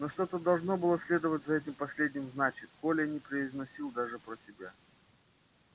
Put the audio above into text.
но что-то должно было следовать за этим последним значит коля не произносил даже про себя